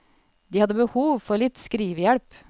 De hadde behov for litt skrivehjelp.